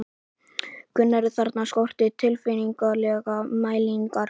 Gunnar, en þarna skorti tilfinnanlega mælingar.